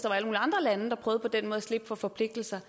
andre lande der på den måde prøvede at slippe for forpligtelser